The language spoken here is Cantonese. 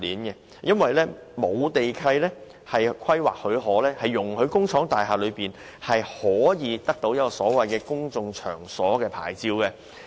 因為沒有地契和規劃許可，工廈藝術工作者難以得到公眾場所娛樂牌照。